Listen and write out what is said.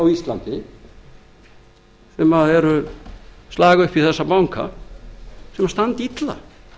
á íslandi sem slaga upp í þessa banka þau standa illa